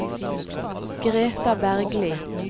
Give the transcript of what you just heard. Greta Bergli